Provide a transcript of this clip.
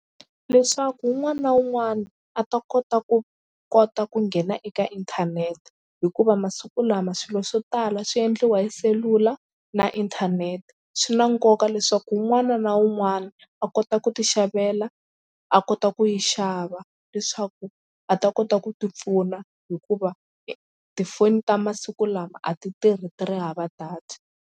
Leswaku un'wana na un'wana a ta kota ku kota ku nghena eka inthanete hikuva masiku lama swilo swo tala swi endliwa hi selula na inthanete swi na nkoka leswaku un'wana na un'wana a kota ku tixavela a kota ku yi xava leswaku a ta kota ku tipfuna hikuva tifoni ta masiku lama a ti tirhi ti ri hava data.